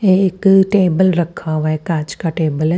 एक टेबल रखा हुआ है कांच का टेबल है।